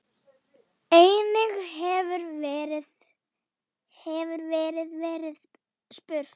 Einnig hefur verið verið spurt